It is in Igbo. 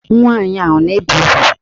Nwaanyị a na-ebe ugwu?